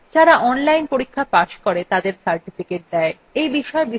যারা online পরীক্ষা pass করে তাদের certificates দেয়